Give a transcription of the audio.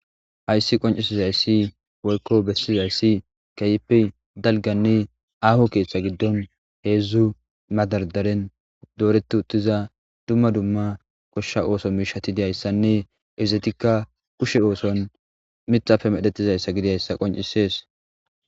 hayssi qoncisizayssi woykko bessizayssi kayeppe dalganne aaho keeththa giddon heedzdzu madardaren dooretu uttiza dumma dumma koshsha ooso miishatidiyayssanne izetikka kushe ooson mixafe medhettizayssa gidiyayssa qoncisees